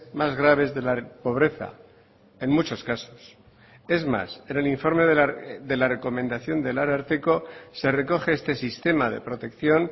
más graves de la pobreza en muchos casos es más en el informe de la recomendación del ararteko se recoge este sistema de protección